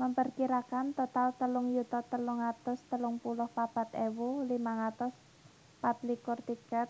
memperkirakan total telung yuta telung atus telung puluh papat ewu limang atus patlikur tiket